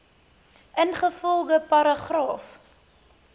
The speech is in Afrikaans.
ingevolge paragraaf